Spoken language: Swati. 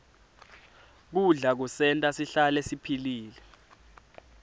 kudla kusenta sihlale siphilile